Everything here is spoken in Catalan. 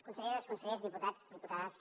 conselleres consellers diputats diputades